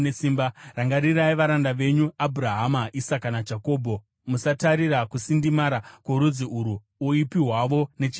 Rangarirai varanda venyu Abhurahama, Isaka naJakobho. Musatarira kusindimara kworudzi urwu, uipi hwavo nechivi chavo.